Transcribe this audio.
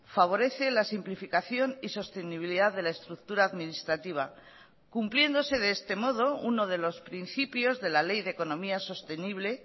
favorece la simplificación y sostenibilidad de la estructura administrativa cumpliéndose de este modo uno de los principios de la ley de economía sostenible